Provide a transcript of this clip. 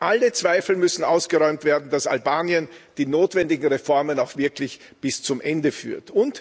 Alle Zweifel müssen ausgeräumt werden, dass Albanien die notwendigen Reformen auch wirklich bis zum Ende führt.